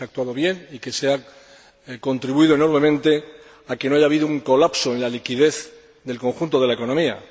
Que se ha actuado bien y que se ha contribuido enormemente a que no haya habido un colapso en la liquidez del conjunto de la economía.